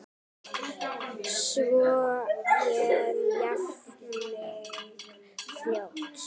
Svo ég jafni mig fljótt.